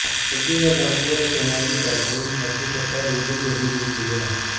کراچی میں ڈاکووں نے سماجی کارکن عبدل ستارایدھی کو بھی لوٹ لیا